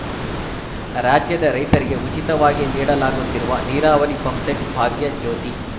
ರಾಜ್ಯದ ರೈತರಿಗೆ ಉಚಿತವಾಗಿ ನೀಡಲಾಗುತ್ತಿರುವ ನೀರಾವರಿ ಪಂಪ್‌ಸೆಟ್ ಭಾಗ್ಯಜ್ಯೋತಿ